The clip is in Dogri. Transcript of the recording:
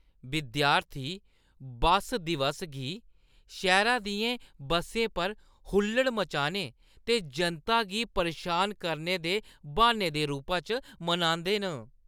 विद्यार्थी बस्स दिवस गी शैह्‌रै दियें बस्सें पर हुल्लड़ मचाने ते जनता गी परेशान करने दे ब्हान्ने दे रूपा च मनांदे न।